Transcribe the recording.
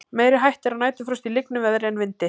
Meiri hætta er á næturfrosti í lygnu veðri en í vindi.